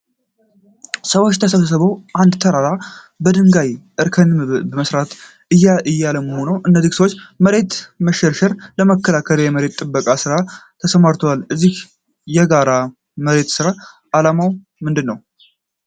ሰዎች ተሰብስበው አንድን ተራራ በድንጋይ እርከኖችን በመስራት እያለሙ ነው። እነዚህ ሰዎች የመሬት መሸርሸርን ለመከላከል የመሬት ጥበቃ ሥራ ላይ ተሰማርተዋል። የዚህ የጋራ የመሬት ስራ አላማ ምንድን ነው?